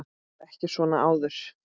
Ég var ekki svona áður.